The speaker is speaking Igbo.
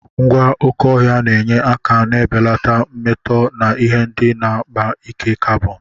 Ngwa oké ọhịa na-enye aka na-ebelata mmetọ na ihe ndị na-akpa ike carbon.